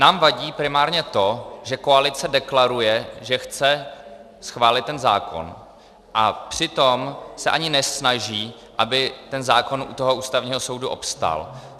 Nám vadí primárně to, že koalice deklaruje, že chce schválit ten zákon, a přitom se ani nesnaží, aby ten zákon u toho Ústavního soudu obstál.